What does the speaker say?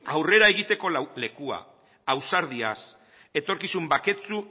aurrera egiteko lekua ausardiaz etorkizun baketsu